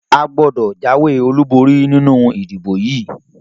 A gbọ́dọ̀ jáwé olúborí nínú ìdìbò yìí!